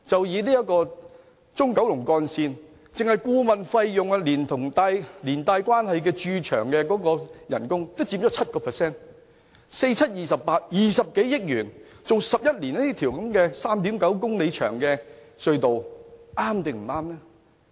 以中九龍幹線為例，單是顧問費用連同連帶的駐場工資也佔 7%，4 乘7等於 28，20 多億元，花11年興建 3.9 公里長的隧道究竟是否正確？